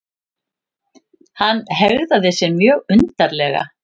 Hann hegðaði sér mjög undarlega.